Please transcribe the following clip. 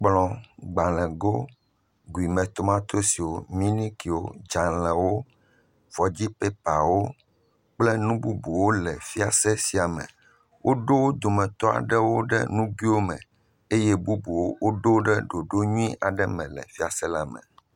Kplɔ, gbalego, tomatosi, minikiwo, dzalewo, fɔdzipɛpawo, kple nu bubuwo le fiase sia me. Woɖo wo dometɔ aɖewo ɖe nuguiwo me eye bubuwo woɖo wo ɖe ɖoɖo nyui aɖe me le fiase la me.